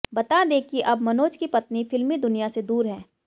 बता दें कि अब मनोज की पत्नी फ़िल्मी दुनिया से दूर हैं